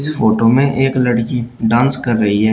Photo में एक लड़की डांस कर रही है।